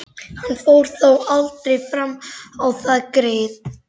Hann fór þó aldrei fram á það, greyið.